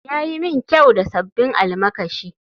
Ya yi min kyau da sabbin almakashi